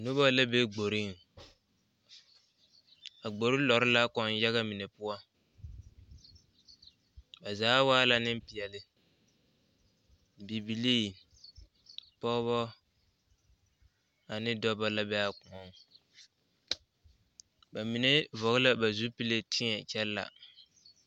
Noba la be kporeŋ a kpore lɔɔre la kõɔ yaga mine poɔ ba zaa wa neŋ pɛle bibili pɔge a ne dɔɔ la be a kõɔ ba mine vɔle la ba zupele a teɛ a kyɛ laa.